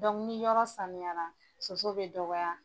yɔrɔ sanuyara soso bɛ dɔgɔya.